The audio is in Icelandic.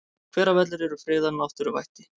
Hveravellir eru friðað náttúruvætti.